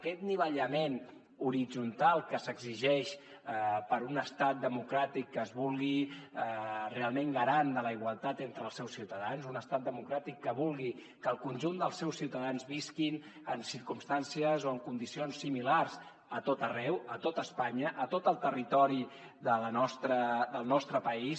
aquest anivellament horitzontal que s’exigeix per a un estat democràtic que es vulgui realment garant de la igualtat entre els seus ciutadans un estat democràtic que vulgui que el conjunt dels seus ciutadans visquin en circumstàncies o en condicions similars a tot arreu a tota espanya a tot el territori del nostre país